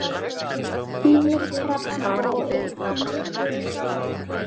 Ýmir, Hrefna og Lísbet Freyja.